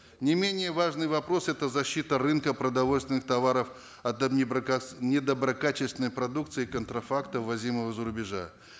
не менее важный вопрос это защита рынка продовольственных товаров от недоброкачественной продукции контрафакта ввозимого из за рубежа